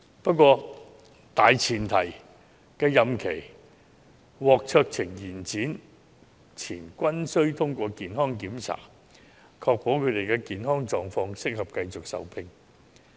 不過，大前提是任期獲酌情延展前須通過健康檢查，確保他們的健康狀況適合繼續受聘。